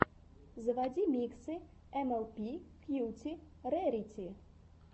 заводи миксы эмэлпи кьюти рэрити